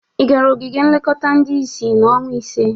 Ị gara ogige nlekọta ndị isi n'ọnwa ise?